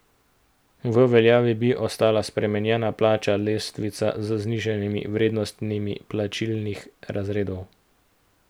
V veljavi bi ostala spremenjena plačna lestvica z znižanimi vrednostmi plačnih razredov.